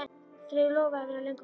Þeir lofuðu að vera löngu farnir.